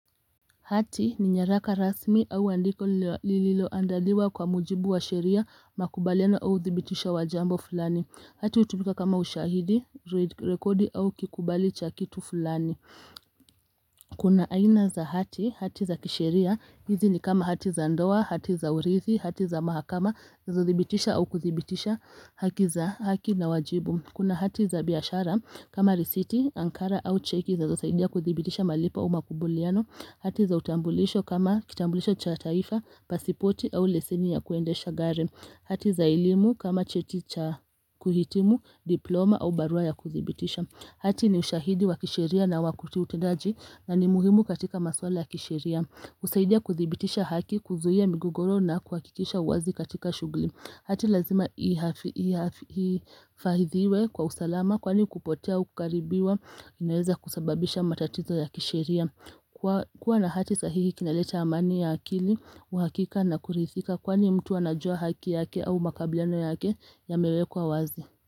Hati ni nyaraka rasmi au andiko lililo andaliwa kwa mujibu wa sheria makubaliano au zibitisha wajambo fulani Hati utubika kama ushahidi, rekodi au kikubali cha kitu fulani Kuna aina za hati, hati za kisheria, hizi ni kama hati za ndoa, hati za urithi, hati za mahakama, zothibitisha au kuthibitisha haki za haki na wajibu Kuna hati za biashara kama risiti, ankara au cheki za usaidia kuthibitisha malipa umakubuliano. Hati za utambulisho kama kitambulisho cha taifa, pasipoti au leseni ya kuendesha gari. Hati za elimu kama cheti cha kuhitimu diploma au barua ya kuthibitisha. Hati ni ushahidi wa kisheria na wakuti utendaji na ni muhimu katika maswala ya kisheria. Usaidia kuthibitisha haki kuzuhia migugoro na kuhakikisha uwazi katika shugli. Hati lazima ifahidhiwe kwa usalama kwani kupotea ukaribiwa inaweza kusababisha matatizo ya kishiria. Kwa na hati sahihi kinaleta amani ya akili, uhakika na kurithika kwani mtu anajua haki yake au makabileno yake ya mewekwa wazi.